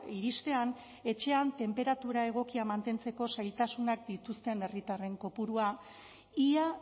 iristean etxean tenperatura egokia mantentzeko zailtasunak dituzten herritarren kopurua ia